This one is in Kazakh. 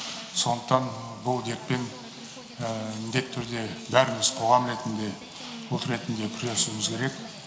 сондықтан бұл дертпен міндеті түрде бәріміз қоғам ретінде күресуіміз керек